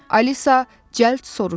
Alisa cəld soruştu.